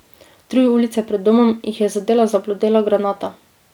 Tri ulice pred domom jih je zadela zablodela granata.